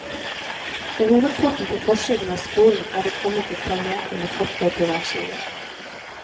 Ved hovedporten på forsiden av skolen er det kommet et par meter med fortau på hver side.